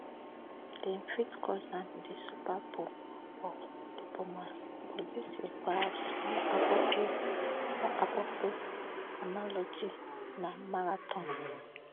dem fit call am di super bowl of diplomacy but dis year perhaps more appropriate more appropriate analogy na marathon